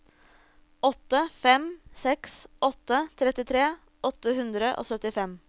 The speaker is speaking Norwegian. åtte fem seks åtte trettitre åtte hundre og syttifem